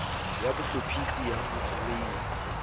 ya bohlophisi ya ho foreima